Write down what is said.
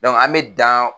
an bɛ dan